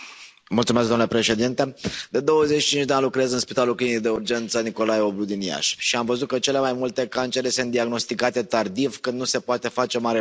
Domnule președinte, de 25 de ani lucrez în Spitalul Clinic de Urgență Nicolae Oblu din Iași și am văzut că cele mai multe cancere sunt diagnosticate tardiv, când nu se poate face mare lucru.